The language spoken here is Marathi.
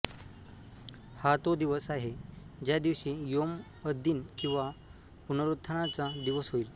हा तो दिवस आहे ज्या दिवशी यौम अददीन किंवा पुनरुत्थानाचा दिवस होईल